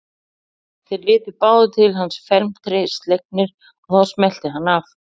Þeir litu báðir til hans felmtri slegnir og þá smellti hann af.